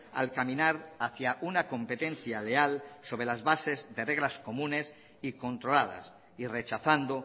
al caminar hacia una competencia leal sobre las bases de reglas comunes y controladas y rechazando